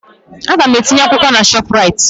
Aga m etinye akwụkwọ na ShopRite